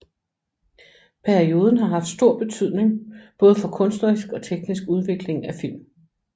Perioden har haft stor betydning både for kunstnerisk og teknisk udvikling af film